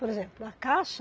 Por exemplo, a Caixa,